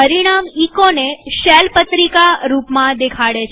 પરિણામ echoને શેલ પત્રિકા રૂપમાં દેખાડે છે